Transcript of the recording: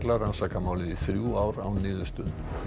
rannsakað málið í þrjú ár án niðurstöðu